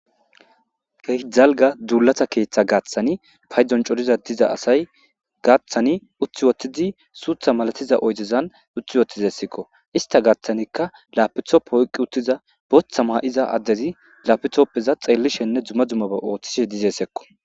Keehi dalgga duulata keeththa gaatani paydon coretida asay gaathani utti woththidi suuththa malatiza oydezan utti wothidayssikko. Istta gaathanikka lapitoope oyqqi uttida booththa ma7iza addezi lapitopeza xeelishene dumma dummaba oothishe dizayssakko